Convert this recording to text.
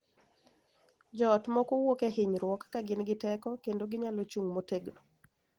Jo ot moko wuok e hinyruok ka gin gi teko kendo ginyalo chung' motegno,